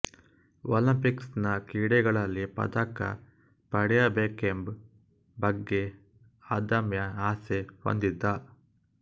Olympics ನ ಕ್ರೀಡೆಗಳಲ್ಲಿ ಪದಕ ಪಡೆಯಬೇಕೆಂಬ್ ಬಗ್ಗೆ ಅದಮ್ಯ ಆಸೆ ಹೊಂದಿದ್ದ